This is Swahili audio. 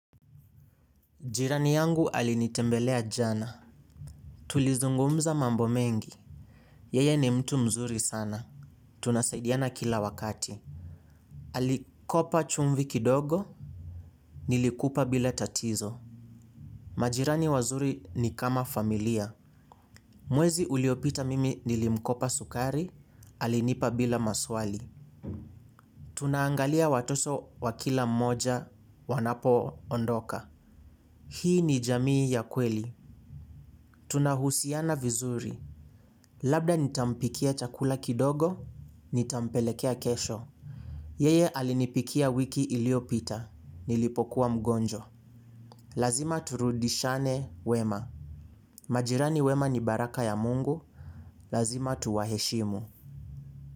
Jirani yangu alinitembelea jana. Tulizungumza mambo mengi. Yeye ni mtu mzuri sana. Tunasaidiana kila wakati. Alikopa chumvi kidogo. Nilikupa bila tatizo. Majirani wazuri ni kama familia. Mwezi uliopita mimi nilimkopa sukari. Alinipa bila maswali. Tunaangalia watoso wa kila mmoja wanapoondoka. Hii ni jamii ya kweli. Tunahusiana vizuri. Labda nitampikia chakula kidogo, nitampelekea kesho. Yeye alinipikia wiki iliopita, nilipokuwa mgonjwa. Lazima turudishane wema. Majirani wema ni baraka ya Mungu, lazima tuwaheshimu.